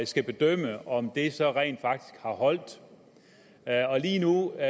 skal bedømme om det så rent faktisk har holdt lige nu er